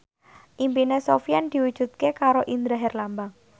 impine Sofyan diwujudke karo Indra Herlambang